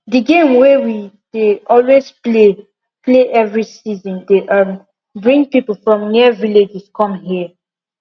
the game wey we dey always play play every season dey um bring people from near villages come here